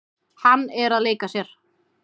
Hann er að leika sér.